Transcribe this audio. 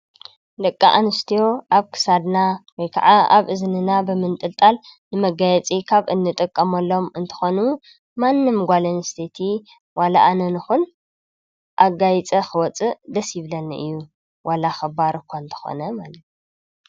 ደቂ ኣንስትዮ ኣብ ክሳድና ወይ ከኣ ኣብ እዝንና ብምንጥልጣን ንመጋየፂ ካብ እንጥቀመሎም እንትኾኑ ማንም ጓል ኣንስተይቲ ዋላ ኣነ ንኹን ኣጋይፀ ክወፅእ ደስ ይብለኒ እዩ ዋላ ኽባር እኳ እንተኾነ ማለት እዩ ።